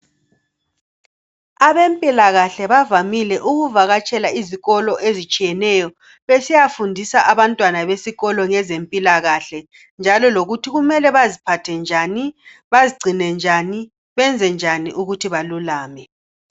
Abempilakahle bavamile ukuvakatshela izikolo ezitshiyeneyo besiya fundisa abantwana besikolo ngezempilakahle njalo lokuthi kumele baziphathe njani bazigcine njani benze njani ukuthi basile.